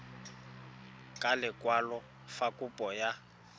ka lekwalo fa kopo ya